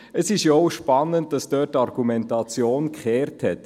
Es ist ja auch spannend, dass die Argumentation dort gewendet hat.